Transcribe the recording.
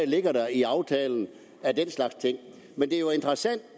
ligger i aftalen af den slags ting men det er jo interessant